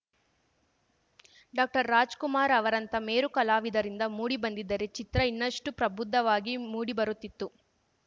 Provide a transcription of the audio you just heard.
ಡಾಕ್ಟರ್ರಾಜಕುಮಾರ್‌ ಅವರಂಥ ಮೇರು ಕಲಾವಿದರಿಂದ ಮೂಡಿ ಬಂದಿದ್ದರೆ ಚಿತ್ರ ಇನ್ನಷ್ಟುಪ್ರಬುದ್ಧವಾಗಿ ಮೂಡಿಬರುತ್ತಿತ್ತು